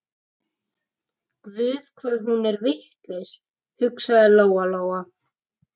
Guð hvað hún er vitlaus, hugsaði Lóa Lóa.